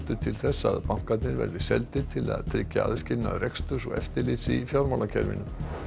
til þess að bankarnir verði seldir til þess að tryggja aðskilnað reksturs og eftirlits í fjármálakerfinu